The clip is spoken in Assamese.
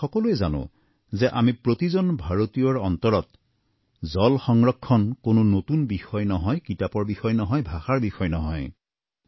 আমি সকলোৱে জানো যে আমি প্ৰতিজন ভাৰতীয়ৰ অন্তৰত জল সংৰক্ষণ কোনো নতুন বিষয় নহয় কিতাপৰ বিষয় নহয় ভাষাৰ বিষয় নহয়